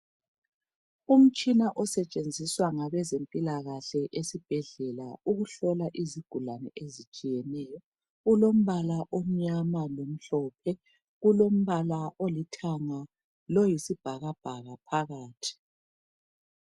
Umtshina osetshenziswa ngabezempilakahle esibhedlela ukuhlola izigulani ezitshiyeneyo. Ulombala omnyama lomhlophe kulombala olithanga loyisibhakabhaka phakathi.